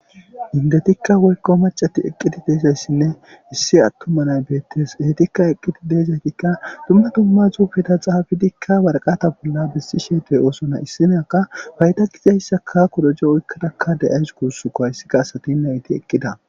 Indetikka woykko macati eqqidi deezayssinne issi attuma nay beettes eetikka eqqidi deezaytikka dumma dumma zuufeda xaafidikka warqata bolla bissi sheetey oosona issinaka fayda gizayssaka kudoje oykkadakka da'ays kuussuko hayssika asatin nayti eqqida.